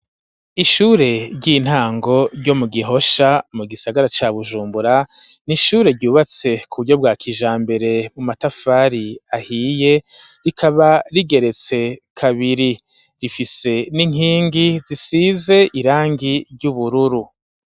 Ishure ry'intango ryo mu gihosha, mu gisagara ca bujumbura, n'ishure ryubatse ku buryo bwa kijambere ,mu matafari ahiye, rikaba rigeretse kabiri rifise n'inkingi zisize irangi ry'ubururu.